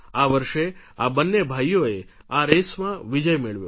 આ વર્ષે આ બંને ભાઈઓએ આ રેસમાં વિજય મેળવ્યો